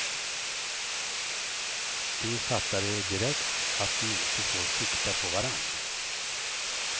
De fattade direkt att de inte får sikta på varann.